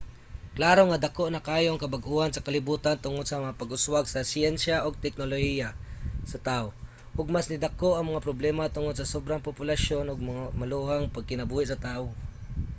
klaro nga dako na kaayo ang kabag-ohan sa kalibutan tungod sa mga pag-uswag sa siyensya ug teknolohiya sa tawo ug mas nidako ang mga problema tungod sa sobrang populasyon ug sa maluhong pagkinabuhi sa tawo